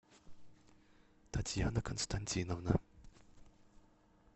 татьяна константиновна